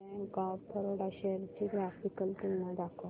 bank of Baroda shares ची graphical तुलना दाखव